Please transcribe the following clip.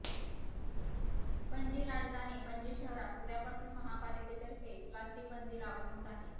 पणजी राजधानी पणजी शहरात उद्या पासून महानगरपालिकेतर्फे प्लास्टिकबंदी लागू होत आहे